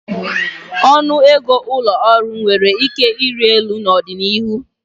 Ọnụ ego ụlọ ọrụ nwere ike ịrị elu n'ọdịnihu.